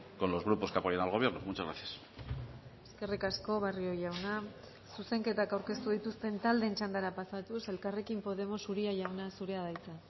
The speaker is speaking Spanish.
con los grupos que apoyan al gobierno muchas gracias eskerrik asko barrio jauna zuzenketak aurkeztu dituzten taldeen txandara pasatuz elkarrekin podemos uria jauna zurea da hitza